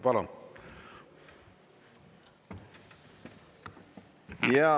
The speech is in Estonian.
Palun!